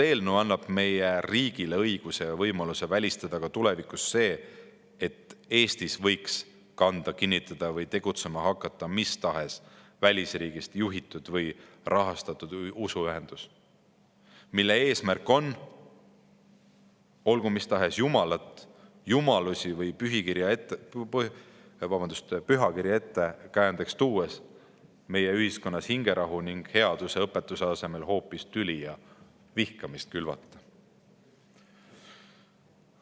Eelnõu annab meie riigile õiguse ja võimaluse välistada ka tulevikus see, et Eestis võiks kanda kinnitada või tegutsema hakata mis tahes välisriigist juhitud või rahastatud usuühendus, mille eesmärk on – olgu mis tahes jumalat, jumalusi või pühakirja ettekäändeks tuues – meie ühiskonnas hingerahu ning headuse õpetuse asemel hoopis tüli ja vihkamist külvata.